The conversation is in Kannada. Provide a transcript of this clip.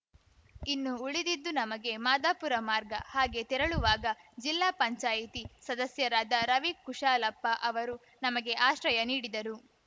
ಇನ್ನು ಉಳಿದಿದ್ದು ನಮಗೆ ಮಾದಾಪುರ ಮಾರ್ಗ ಹಾಗೆ ತೆರಳುವಾಗ ಜಿಲ್ಲಾ ಪಂಚಾಯಿತಿ ಸದಸ್ಯರಾದ ರವಿ ಕುಶಾಲಪ್ಪ ಅವರು ನಮಗೆ ಆಶ್ರಯ ನೀಡಿದರು